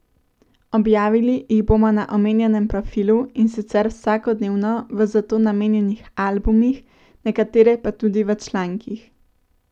Objavili jih bomo na omenjenem profilu, in sicer vsakodnevno v za to namenjenih albumih, nekatere pa tudi v člankih.